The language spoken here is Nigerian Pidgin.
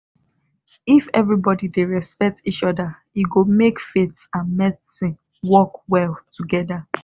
if everybody dey respect each other e go make faith and medicine work well together.